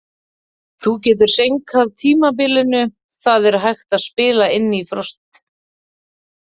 Þú getur seinkað tímabilinu, það er hægt að spila inn í frost.